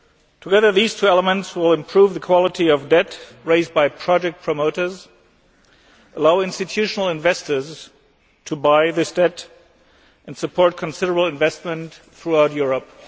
Together, these two elements will improve the quality of debt raised by project promoters, allow institutional investors to buy this debt, and support considerable investment throughout Europe.